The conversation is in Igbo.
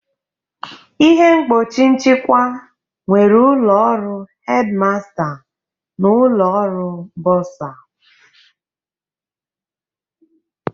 Ihe mgbochi nchịkwa nwere ụlọ ọrụ Headmaster na ụlọ ọrụ bursar